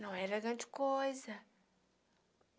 Não era grande coisa.